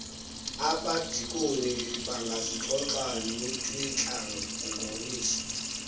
abadikoni bangazixoxa notwiintlangoniso